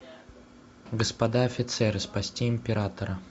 господа офицеры спасти императора